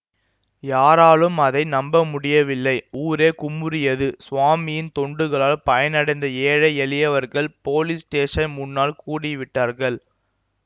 யாராலும் அதை நம்ப முடியவில்லை ஊரே குமுறியது சுவாமியின் தொண்டுகளால் பயனடைந்த ஏழை எளியவர்கள் போலீஸ் ஸ்டேஷன் முன்னால் கூடிவிட்டார்கள்